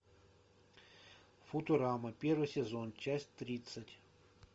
футурама первый сезон часть тридцать